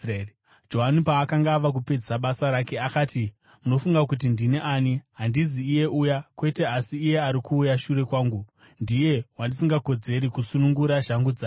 Johani paakanga ava kupedzisa basa rake, akati, ‘Munofunga kuti ndini ani? Handizi iye uya. Kwete, asi iye ari kuuya shure kwangu, ndiye wandisingakodzeri kusunungura shangu dzake.’